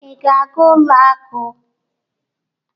Ị na-aga ụlọ akụ?